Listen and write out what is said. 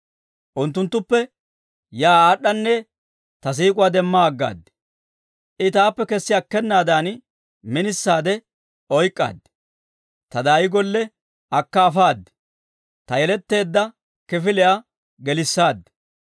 Unttunttuppe yaa aad'anne ta siik'uwaa demma aggaad. I taappe kessi akkenaadan, minisaade oyk'k'aad; ta daayi golle akka afaad; ta yeletteedda kifiliyaa gelissaad.